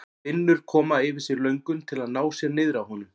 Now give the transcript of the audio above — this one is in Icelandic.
Finnur koma yfir sig löngun til að ná sér niðri á honum.